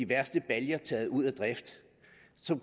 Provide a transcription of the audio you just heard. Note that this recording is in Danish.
værste baljer ud af drift